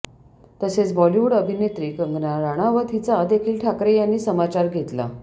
तसेच बॉलिवूड अभिनेत्री कंगना राणावत हिचा देखील ठाकरे यांनी समाचार घेतला